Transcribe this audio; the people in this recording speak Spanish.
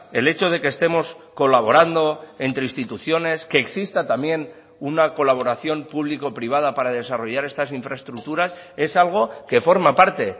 el hecho de que estemos colaborando entre instituciones que exista también una colaboración público privada para desarrollar estas infraestructuras es algo que forma parte